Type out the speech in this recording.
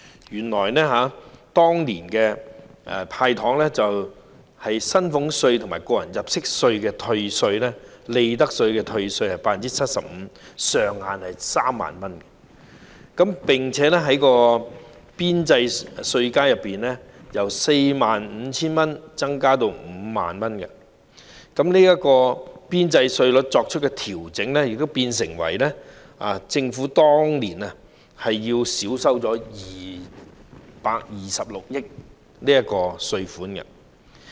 原來當年"派糖"措施下的薪俸稅、個人入息課稅及利得稅的退稅比率為 75%， 上限為3萬元，並且在邊際稅階中，由 45,000 元增加至 50,000 元，而當年邊際稅率的調整變相令政府少收226億元稅款。